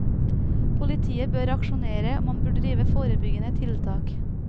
Politiet bør aksjonere og man bør drive forebyggende tiltak.